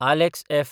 Alex F.